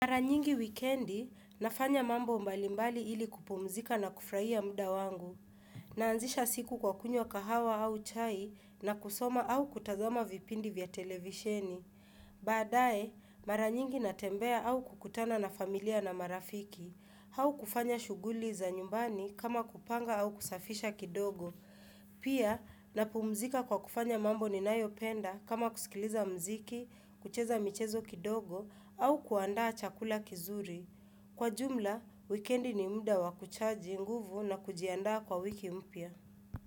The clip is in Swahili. Mara nyingi wikendi. Nafanya mambo mbalimbali ili kupumzika na kufurahia muda wangu. Naanzisha siku kwa kunywa kahawa au chai na kusoma au kutazama vipindi vya televisheni. Baadae. Mara nyingi natembea au kukutana na familia na marafiki. Au kufanya shughuli za nyumbani. Kama kupanga au kusafisha kidogo. Pia, napumzika kwa kufanya mambo ninayopenda kama kusikiliza muziki, kucheza michezo kidogo au kuandaa chakula kinzuri. Kwa jumla, wikendi ni muda wakuchaji nguvu na kujiandaa kwa wiki mpya.